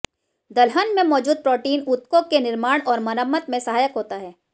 दलहन में मौजूद प्रोटीन ऊतकों के निर्माण और मरम्मत में सहायक होता है